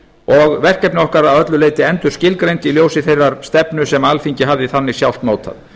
og verkefni okkar að öllu leyti endurskilgreind í ljósi þeirrar stefnu sem alþingi hafði þannig sjálft mótað